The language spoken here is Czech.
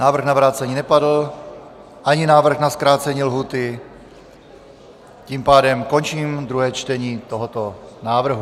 Návrh na vrácení nepadl, ani návrh na zkrácení lhůty, tím pádem končím druhé čtení tohoto návrhu.